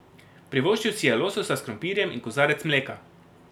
Privoščil si je lososa s krompirjem in kozarec mleka.